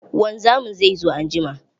Wanzamin zai zo anjima.